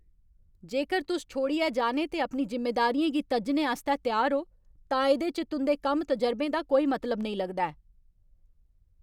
जेकर तुस छोड़ियै जाने ते अपनी जिम्मेदारियें गी तज्जने आस्तै त्यार ओ, तां इ'दे च तुं'दे कम्म तजरबें दा कोई मतलब नेईं लगदा ऐ।